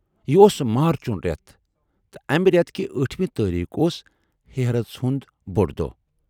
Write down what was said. یہِ اوس مارچُن رٮ۪تھ تہٕ امہِ رٮ۪تھ کہِ ٲٹھمہِ تٲریٖخ اوس ہیرتھ ہُند بوڈ دۅہ۔